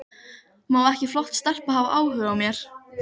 Auðvitað var ekki við þá að sakast.